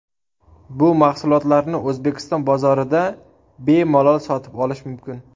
Bu mahsulotlarni O‘zbekiston bozorida bemalol sotib olish mumkin.